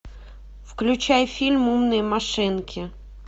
включай фильм умные машинки